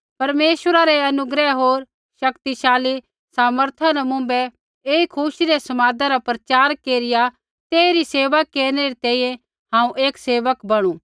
परमेश्वरा रै अनुग्रह होर शक्तिशाली सामर्था न मुँभै ऐई खुशी रै समादा रा प्रचार केरिया तेइरी सेवा केरनै री तैंईंयैं हांऊँ एक सेवक बणु